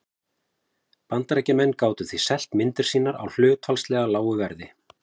Bandaríkjamenn gátu því selt myndir sínar á hlutfallslega lágu verði.